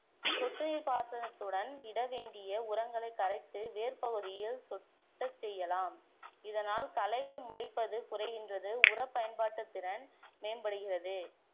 சொட்டு நீர்ப்பாசனத்துடன் இட வேண்டிய உரங்களைக் கரைத்து வேர்ப்பகுதியில் சொட்டச் செய்யலாம் இதனால் களைகள் முளைப்பது குறைகின்றது உர பயன்பாட்டுத்திறன் மேம்படுகிறது